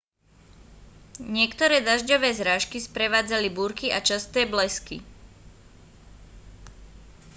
niektoré dažďové zrážky sprevádzali búrky a časté blesky